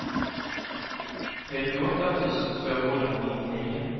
trettioåtta tusen tvåhundranittionio